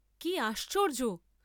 কি আশ্চর্য্য!